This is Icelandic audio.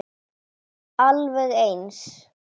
Alveg eins.